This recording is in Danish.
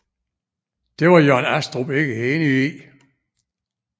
Det var Jørn Astrup ikke enig i